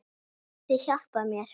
Getið þið hjálpað mér?